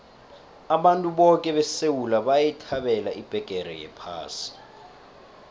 abantu boke besewula bayithabela ibheqere yephasi